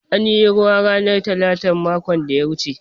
An yi ruwa ranar talatan makon da ya wuce.